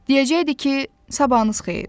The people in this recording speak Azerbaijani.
Deyəcəkdi ki, sabahınız xeyir.